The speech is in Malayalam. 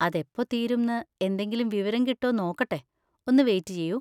അതെപ്പോ തീരുംന്ന് എന്തെങ്കിലും വിവരം കിട്ടോ നോക്കട്ടെ, ഒന്ന് വെയിറ്റ് ചെയ്യൂ.